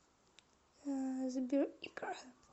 сбер икра